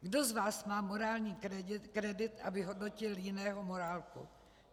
Kdo z vás má morální kredit, aby hodnotil jiného morálku.